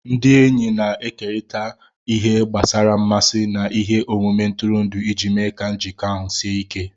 Ndị enyi na-ekerịta ihe gbasara mmasị na ihe omume ntụrụndụ iji mee ka njikọ ahụ sie ike